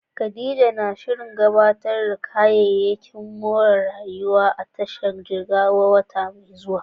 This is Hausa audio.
Khadija na shirin gabatar da kayayyakin more rayuwa a tashar ruwa ta Jigawa a wata mai zuwa.